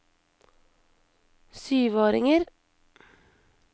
syvåringer